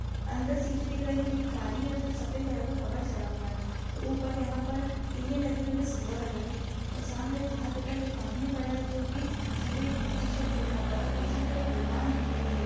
अंदर सीटे दिख रही है जो काली है उस पर सफेद कलर का कवर चढ़ा हुआ है ऊपर यहाँ पर टीने लगी हुई है सिल्वर की और सामने बाहर की तरफ एक आदमी खड़ा है जो की सफेद टी-शर्ट पहना हुआ है और पीछे की तरफ एक दुकान दिख रही है।